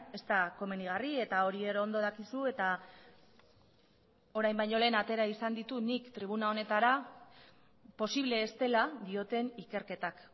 ez da komenigarri eta hori ere ondo dakizu eta orain baino lehen atera izan ditut nik tribuna honetara posible ez dela dioten ikerketak